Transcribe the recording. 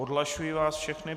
Odhlašuji vás všechny.